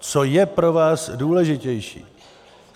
Co je pro vás důležitější?